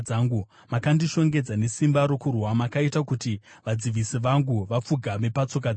Makandishongedza nesimba rokurwa; makaita kuti vadzivisi vangu vapfugame patsoka dzangu.